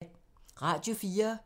Radio 4